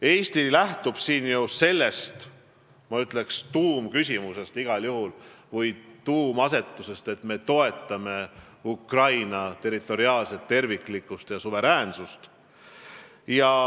Eesti lähtub siin ju igal juhul sellest tuumküsimusest või rõhuasetusest, et me toetame Ukraina territoriaalset terviklikkust ja suveräänsust.